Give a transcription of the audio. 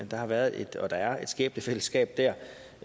der har været og at der er et skæbnefællesskab der